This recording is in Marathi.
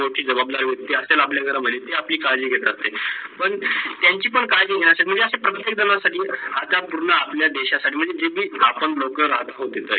ते लोक ची जवाबदारी होती ते महते ते आपली काडजी खेतात पण त्यांची पण काडजी घेणांसाठी म्हणजे अस प्रत्येक जन पूर्ण आपल्या देशा साठी म्हणजे जे ती आपण लोक राहत होते